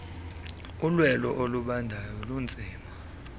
ulwelo olubandayo lunzima